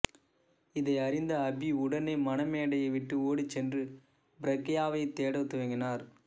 இதை அறிந்த அபி உடனே மணமேடையை விட்டு ஓடிச்சென்று பிரக்யாவைத் தேடத் துவங்கினார்